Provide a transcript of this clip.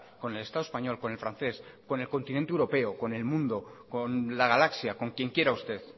con el estado español con el francés con el continente europeo con el mundo con la galaxia con quien quiera usted